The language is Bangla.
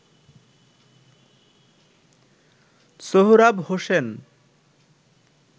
সোহরাব হোসেন